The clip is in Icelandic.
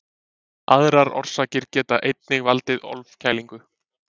Aðrar orsakir geta einnig valdið ofkælingu.